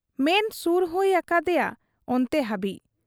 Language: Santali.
ᱢᱮᱱ ᱥᱩᱨ ᱦᱩᱭ ᱟᱠᱟ ᱟᱫᱮᱭᱟ ᱚᱱᱛᱮ ᱦᱟᱹᱵᱤᱡ ᱾